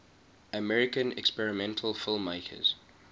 american experimental filmmakers